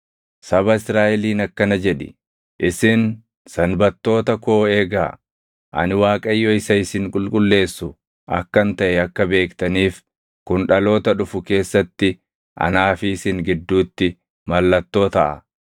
“Saba Israaʼeliin akkana jedhi; ‘Isin Sanbattoota koo eegaa. Ani Waaqayyo isa isin qulqulleessu akkan taʼe akka beektaniif kun dhaloota dhufu keessatti anaa fi isin gidduutti mallattoo taʼa.